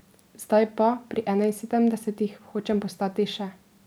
Zdaj pa, pri enainsedemdesetih, hočem postati še ...